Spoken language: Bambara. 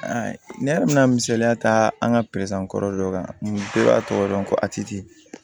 Ne yɛrɛ bɛna misaliya ta an ka kɔrɔ dɔ kan bɛɛ b'a tɔgɔ dɔn ko a titi